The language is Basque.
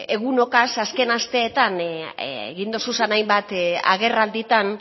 egunotaz azken asteetan egin dituzun hainbat agerraldietan